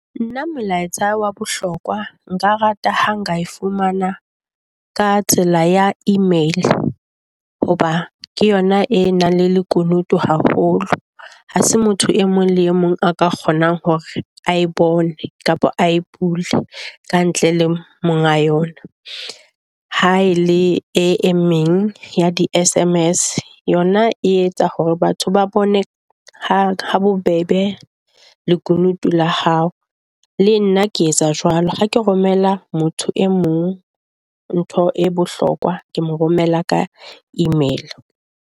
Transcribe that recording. Nna molaetsa wa bohlokwa nka rata ha nka fumana ka tsela ya email hoba ke yona e nang le lekunutu haholo ha se motho e mong le e mong a ka kgonang hore a e bone kapa a e bile ka ntle le monga yona, ha e le e meng ya di S_M_S yona e etsa hore batho ba bone ha bobebe lekunutu la hao. Le nna ke etsa jwalo ha ke romela motho e mong, ntho e bohlokwa ke mo romela ka email.